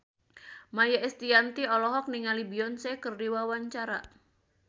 Maia Estianty olohok ningali Beyonce keur diwawancara